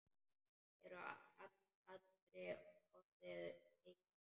Er allri orðið heitt.